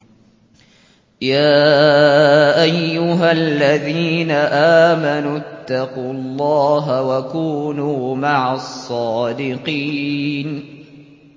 يَا أَيُّهَا الَّذِينَ آمَنُوا اتَّقُوا اللَّهَ وَكُونُوا مَعَ الصَّادِقِينَ